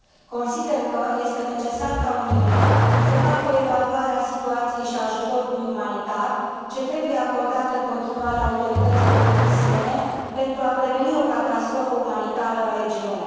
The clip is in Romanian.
Consider că este necesar ca Uniunea să facă o evaluare a situației și a ajutorului umanitar ce trebuie acordat în continuare autorităților tunisiene pentru a preveni o catastrofă umanitară în regiune.